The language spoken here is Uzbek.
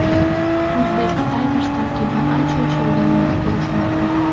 Uzbek Tigers tarkibi ancha yosharganini ko‘rish mumkin.